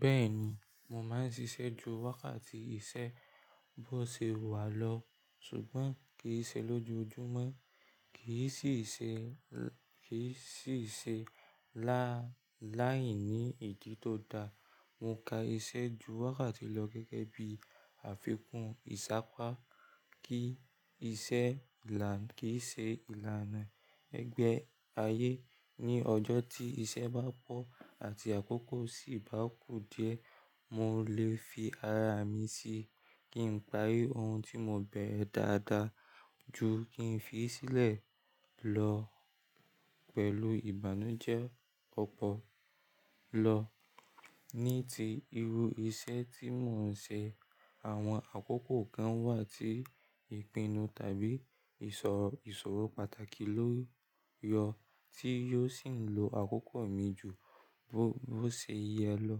Bẹ́ẹ̀ni, mò máa ń ṣiṣẹ́ ju wákàtí iṣẹ́ bó ṣe wà lọ, ṣùgbọ́n kì í ṣe lójoojúmọ́, kì í sì í ṣe lálai ní idí tó da. Mo ka iṣẹ́ ju wákàtí lọ gẹ́gẹ́ bí àfikún ìṣá po kí iṣẹ́ ìlànà ẹgbẹ́ ayé ní ọjọ́ tí iṣẹ́ bá pọ̀ àti àkókò sì bá kù díẹ̀, mò lè fi ara mi si kí n parí ohun tí mò bẹ̀rẹ̀ dáadáa ju kí n fi í sílẹ̀ lọ pẹ̀lú ìbànújẹ́ ọ̀pọ̀lọpọ̀ lọ. Ní ti irú iṣẹ́ tí mò ń ṣe, àwọn àkókò kan wà tí ìpinnu tàbí ìsọ̀rọ̀ pàtàkì ló yọ tí yóò sì ń lo àkókò mi ju bó ṣe yẹ lọ.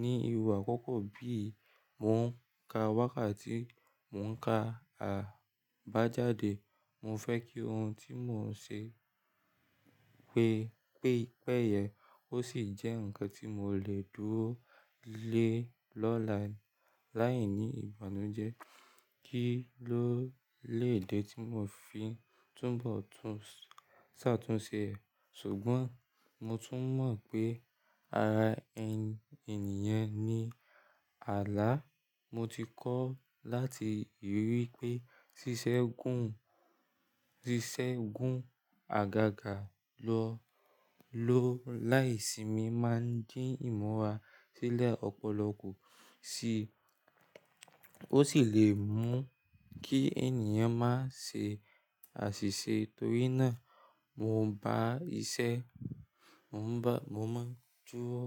Ni irú àkókò bí ì, mò ń ka wákàtí mò ń ka àbájáde, mò fẹ́ kí ohun tí mò ń ṣe péye, ó sì jẹ́ ǹkan tí mò lè dúró lé lọ́lá láìní ìbànújẹ́ kí ló lè dé tí mò fi túbọ̀ tún ṣàtúnṣe. Ṣùgbọ́n mò tún mọ̀ pé ara ẹni ènìyàn ní ààlà, mò ti kọ́ láti ríi pé ṣíṣẹ́ gún àgàgà lọ láìsími máa ń dín ìmọ̀ wa sílẹ̀ ọ̀pọ̀lọpọ̀ ku sì, ó sì lè mú kí ènìyàn má ṣe àṣìṣe. Torí náà, mò ń bá iṣẹ́, mò máa ń dúró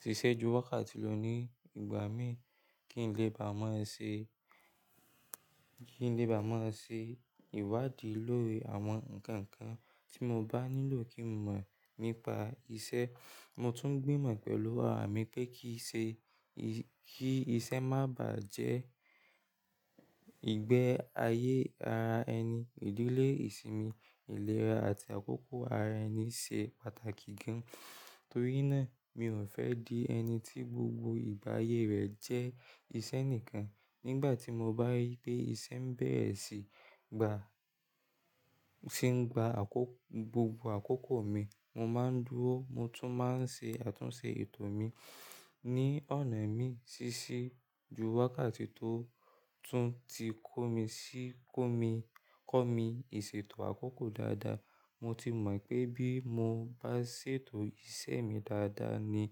ṣiṣẹ́ ju wákàtí lọ ní ìgbà mií kí n lè bá a mọ̀ ẹ ṣe ìwádìí lórí àwọn ǹkan kan tí mò bá nílò kí mò mọ̀ nípa iṣẹ́. Mò tún gbìmọ̀ pẹ̀lú ara mi pé kí iṣẹ́ má bàá jẹ́ ìgbẹ́ ayé ara ẹni. Ìdílé, ìsinmi, ìlera àti àkókò ara ẹni ṣe pàtàkì gan-an. Torí náà, mi ò fẹ́ di ẹni tí gbogbo ìgbà ayé rẹ̀ jẹ́ iṣẹ́ nìkan. Nígbà tí mò bá rí pé iṣẹ́ ń bẹ̀rẹ̀ sí í gba gbogbo àkókò mi, mò máa ń dúró, mò tún máa ń ṣe àtúnṣe ètò mi ní ọ̀nà imi ṣíṣí ju wákàtí tó tún ti kọ́ mi ìṣètò àkókò dáadáa. Mò ti mọ̀ wipé bí mò bá ṣètò iṣẹ́ mi dáadáa ní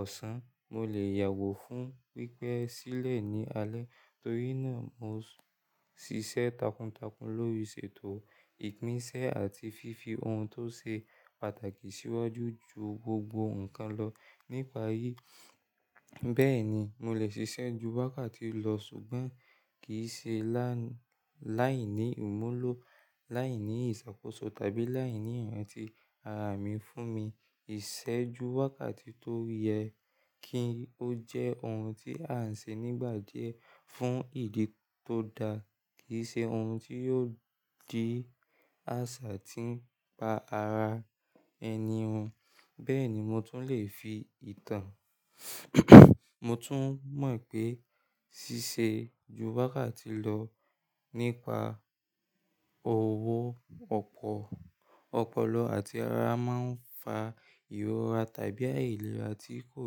ọ̀sán, mò lè yàwò fún pípẹ́ sílẹ̀ ní alẹ́. Torí náà, mò ń ṣiṣẹ́ takuntakun lórí ṣètò ìpín ṣẹ́ àti fífi ohun tó ṣe pàtàkì síwájú ju gbogbo ǹkan lọ nípa yii. Bẹ́ẹ̀ni, mò lè ṣiṣẹ́ ju wákàtí lọ ṣùgbọ́n kì í ṣe láìní ìmúlò, láìní ìṣàkóso tàbí láìní iràntí ara mi fún mi. Ìṣẹ́ ju wákàtí tó yẹ kí ó jẹ́ ohun tí a ń ṣe nígbà díẹ̀ fún ìdí tó da, kì í ṣe ohun tí yóò di àṣà tí ń pa ara ẹni run. Bẹ́ẹ̀ni, mò tún lè fi ìtàn, mò tún mọ̀ pé ṣíṣe ju wákàtí lọ nípa owó ọ̀pọ̀lọ àti ara máa ń fa ìrora tàbí àìlera tí kò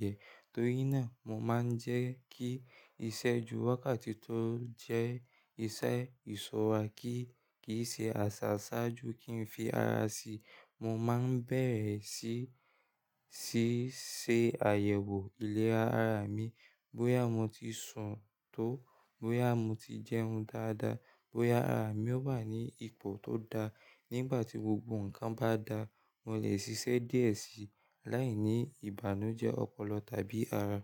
yẹ. Torí náà, mò máa ń jẹ́ kí iṣẹ́ ju wákàtí tó jẹ́ iṣẹ́ ìṣọrà kí kì í ṣe àṣà ṣáájú kí n fi ara si. Mò máa ń bẹ̀rẹ̀ sí í ṣe àyẹ̀wò ìlera ara mi. Bóyá mò ti sùn tó, bóyá mò ti jẹ́un dáadáa, bóyá ara mi ó wá ní ipò tó da. Nígbà tí gbogbo ǹkan bá dáa, mò lè ṣiṣẹ́ díẹ̀ sí láìní ìbànújẹ́ ọ̀pọ̀lọ tàbí ara.